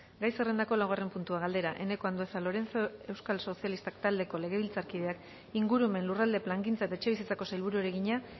gai zerrendako laugarren puntua galdera eneko andueza lorenzo euskal sozialistak taldeko legebiltzarkideak ingurumen lurralde plangintza eta etxebizitzako sailburuari egina